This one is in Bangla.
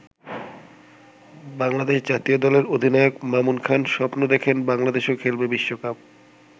বাংলাদেশ জাতীয় দলের অধিনায়ক মামুন খান স্বপ্ন দেখেন বাংলাদেশও খেলবে বিশ্বকাপ।